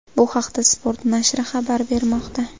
Bu haqda Sport nashri xabar bermoqda .